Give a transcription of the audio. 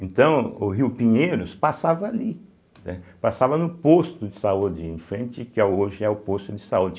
Então, o rio Pinheiros passava ali, né, passava no posto de saúde em frente, que é hoje é o posto de saúde.